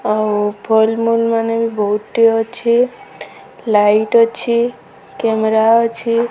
ଅଉ ମାନେ ବହୁତ୍ ଟିଏ ଅଛି ଲାଇଟ୍ ଅଛି କେମେରା ଅଛି।